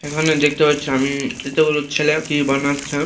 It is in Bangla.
এখানে দেখতে পাচ্ছি আমি দুটো ছেলে কি বানাচ্ছে ।